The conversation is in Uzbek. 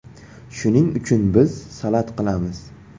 Shuning uchun biz salat qilamiz.